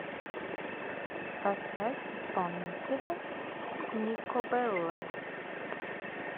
поставь исполнителя никобелла